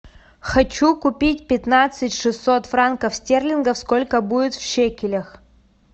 хочу купить пятнадцать шестьсот франков стерлингов сколько будет в шекелях